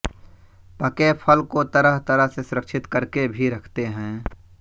पके फल को तरह तरह से सुरक्षित करके भी रखते हैं